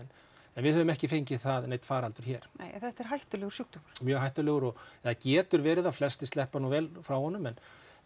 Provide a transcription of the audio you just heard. en við höfum ekki fengið neinn faraldur hér nei en þetta er hættulegur sjúkdómur mjög hættulegur eða getur verið það flestir sleppa nú vel frá honum en